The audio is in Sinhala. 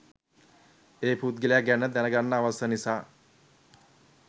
ඒ පුද්ගලයා ගැන දැනගන්න අවශ්‍ය නිසා.